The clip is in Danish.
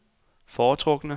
foretrukne